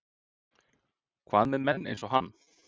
Hvað með menn eins og hann?